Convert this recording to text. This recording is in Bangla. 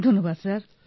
ধন্যবাদ স্যার